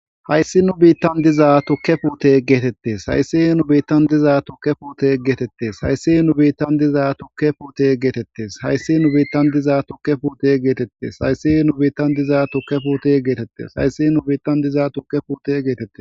hayssi nu biittan diza tukke puute geetettes hayssi nu biittan diza tukke puute geetettes hayssi nu biittan diza tukke puute geetettes hayssi nu biittan diza tukke puute geetettes hayssi nu biittan diza tukke puute geetettes hayssi nu biittan diza tukke puute geetette